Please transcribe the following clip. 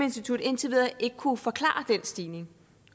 institut indtil videre ikke kunnet forklare den stigning